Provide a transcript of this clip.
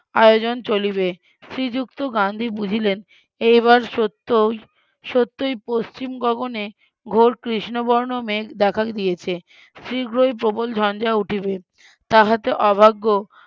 আয়োজন চলিবে শ্রীযুক্ত গান্ধী বুঝিলেন এবার সত্যই সত্যই পশ্চিম গগনে ঘোর কৃষ্ণবর্ণ মেঘ দেখা দিয়েছে শীঘ্রই প্রবল ঝঞ্ঝা উঠিবে তাহাতে অভাগ্য